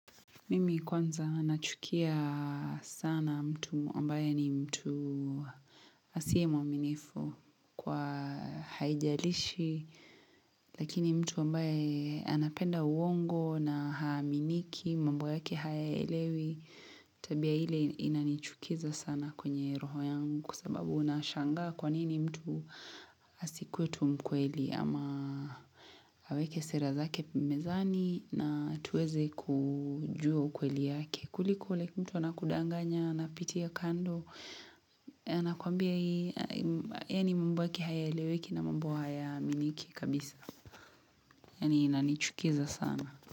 Mimi kwanza nachukia sana mtu ambaye ni mtu asiye mwaminifu kwa haijalishi lakini mtu ambaye anapenda uongo na haaminiki mambo yake hayaelewi tabia ile inanichukiza sana kwenye roho yangu kwa sababu unashangaa kwanini mtu asikuwet u mkweli ama aweke sera zake mezani na tuweze kujua ukweli yake. Kuliko like mtu wana anakudanganya anapitia kando na kuambia hii yaani mambo yake hayaeleweki na mambo hayaaminiki kabisa. Yani inanichukiza sana.